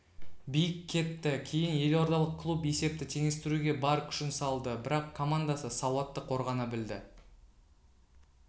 биік кетті кейін елордалық клуб есепті теңестіруге бар күшін салды бірақ командасы сауатты қорғана білді